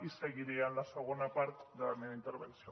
i seguiré en la segona part de la meva intervenció